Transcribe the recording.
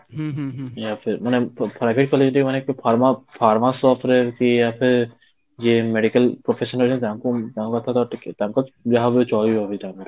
ମାନେ private college ଟିକେ ମାନେ pharma pharma shop ରେ ୟେ medical professionରେ ହିଁ ଯାଆନ୍ତି, ତାଙ୍କ ତ ଟିକେ ତାଙ୍କର ଯାହା ବି ହେଲେ ଚାଲିବ ବି ତାଙ୍କ ପାଖରେ